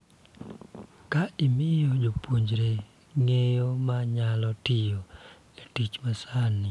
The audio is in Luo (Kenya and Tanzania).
Ka imiyo jopuonjre ng�eyo ma nyalo tiyo e tich ma sani,